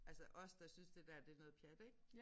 Altså os der synes det der det noget pjat ik